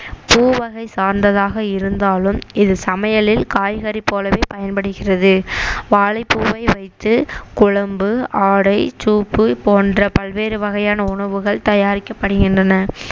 பூ வகை சார்ந்ததாக இருந்தாலும் இது சமையலில் காய்கறி போலவே பயன்படுகிறது வாழைப்பூவை வைத்து குழம்பு ஆடை சூப்பு போன்ற பல்வேறு வகையான உணவுகள் தயாரிக்கப்படுகின்றன